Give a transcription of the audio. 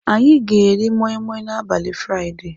Anyị ga-eri Moimoi n'abalị Fraịde.